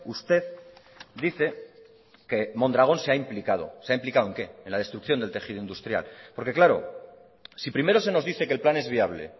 usted dice que mondragón se ha implicado se ha implicado en qué en la destrucción del tejido industrial porque claro si primero se nos dice que el plan es viable